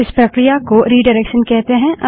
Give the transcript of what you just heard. इस प्रक्रिया को रिडाइरेक्शन कहते हैं